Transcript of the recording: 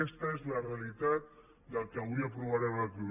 aquesta és la realitat del que avui aprovarem aquí